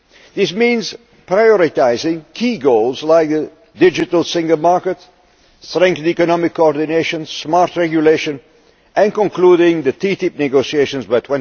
This means prioritising key goals, like the digital single market, strengthened economic coordination, smart regulation, and concluding the TTIP negotiations